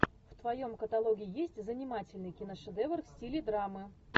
в твоем каталоге есть занимательный киношедевр в стиле драмы